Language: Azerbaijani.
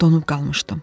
Donub qalmışdım.